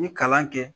N ye kalan kɛ